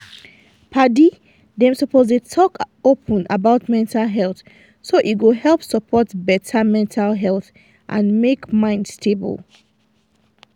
padi them suppose dey talk open about mental health so e go help support better mental health and make mind stable.